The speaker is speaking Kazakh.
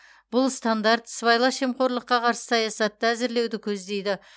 бұл стандарт сыбайлас жемқорлыққа қарсы саясатты әзірлеуді көздейді